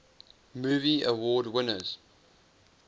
movie award winners